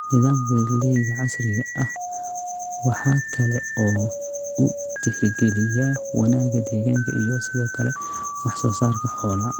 Nidaamka beeralayda casriga ah waxa kale oo uu tixgeliyaa wanaagga deegaanka iyo sidoo kale wax soo saarka xoolaha.